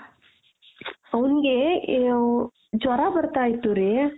ಅವ್ಙ್ಗೆ ಜ್ವರಾ ಬರ್ತಾ ಇತ್ತು ರೀ